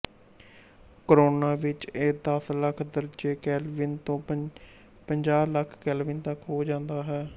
corona ਵਿੱਚ ਇਹ ਦਸ ਲੱਖ ਦਰਜੇ ਕੈਲਵਿਨ ਤੋਂ ਪੰਜਾਹ ਲੱਖ ਕੈਲਵਿਨ ਤਕ ਹੋ ਜਾਂਦਾ ਹੈ